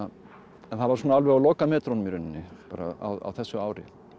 en það var alveg á lokametrunum í rauninni bara á þessu ári